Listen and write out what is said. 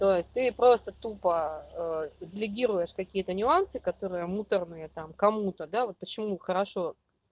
то есть ты просто тупо делегируешь какие-то нюансы которые муторные там кому-то да вот почему хорошо